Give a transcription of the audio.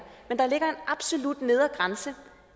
men der ligger som absolut nedre grænse